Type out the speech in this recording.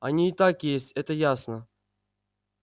они и так есть это ясно